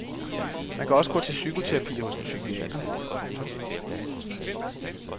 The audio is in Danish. Man kan også gå til psykoterapi hos en psykiater. punktum